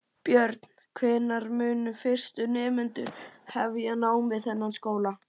Björn: Hvenær munu fyrstu nemendur hefja nám við þennan skóla?